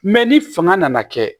Mɛ ni fanga nana kɛ